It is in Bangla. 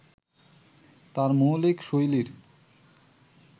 তাঁর মৌলিক শৈলীর